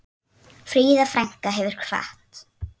Fríða frænka hefur kvatt.